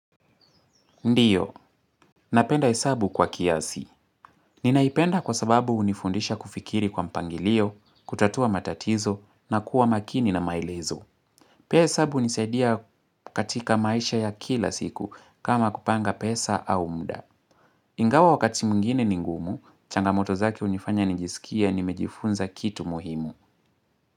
Ndiyo. Napenda hesabu kwa kiasi. Ninaipenda kwa sababu hunifundisha kufikiri kwa mpangilio, kutatua matatizo, na kuwa makini na maelezo. Pia hesabu hunisaidia katika maisha ya kila siku kama kupanga pesa au mda. Ingawa wakati mwingine ni ngumu, changamoto zake hunifanya nijisikie nimejifunza kitu muhimu.